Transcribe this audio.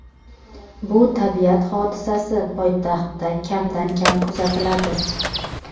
bu tabiat hodisasi poytaxtda kamdan-kam kuzatiladi.